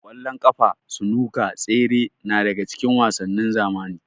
Ƙwallon ƙafa, sunuka, tsere na daga cikin wasannin zamani.